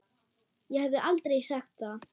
Ég hefði aldrei sagt það.